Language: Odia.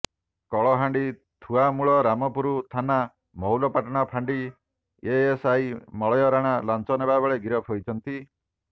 କଳହାଣ୍ଡି ଥୁଆମୂଳ ରାମପୁର ଥାନା ମହୁଲପାଟଣା ଫାଣ୍ଡି ଏଏସ୍ଆଇ ମଳୟ ରାଣା ଲାଞ୍ଚ ନେବା ବେଳେ ଗିରଫ ହୋଇଛନ୍ତି